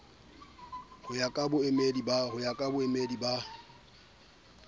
ho ya ka baamohedi ba